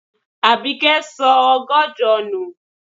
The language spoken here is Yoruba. Àbíkẹ́ sọ ọgọ́jọ nù.